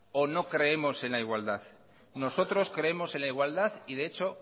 o no creemos en la igualdad nosotros creemos en la igualdad y de hecho